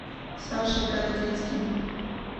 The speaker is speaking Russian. сашей городецким